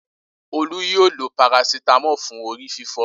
Olú yóò lo parasítámọ̀ fún orí fífọ́.